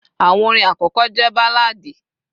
àwọn orin akọkọ je balladi